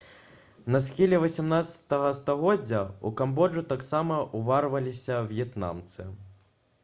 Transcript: на схіле 18 стагоддзя ў камбоджу таксама ўварваліся в'етнамцы